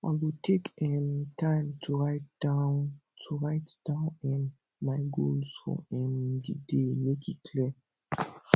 i go take um time to write down to write down um my goals for um di day make e clear